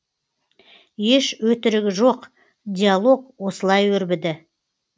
еш өтірігі жоқ диалог осылай өрбіді